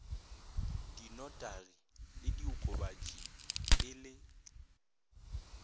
dinotaging le diokobatšing e le